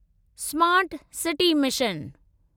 smart city mission